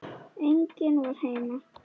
En enginn var heima.